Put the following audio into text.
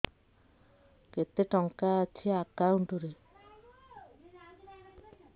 କେତେ ଟଙ୍କା ଅଛି ଏକାଉଣ୍ଟ୍ ରେ